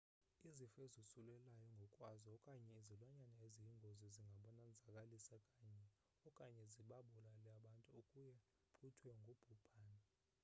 izifo ezosulelayo ngokwazo okanye izilwanyana eziyingozi zingabonzakalisa okanye zibabulale abantu akuye kuthiwe ngubhubhane